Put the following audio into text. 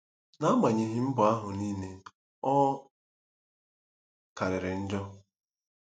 N'agbanyeghị mbọ ahụ niile, ọ “karịrị njọ.”